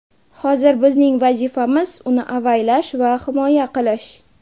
Hozir bizning vazifamiz uni avaylash va himoya qilish.